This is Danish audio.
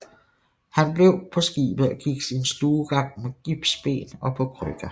Han blev på skibet og gik sin stuegang med gipsben og på krykker